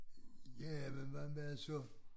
Ja men hvad med så